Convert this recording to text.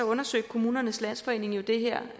undersøgte kommunernes landsforening jo det her